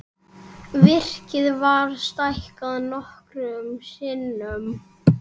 Virkið var stækkað nokkrum sinnum.